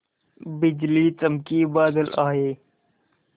बिजली चमकी बादल आए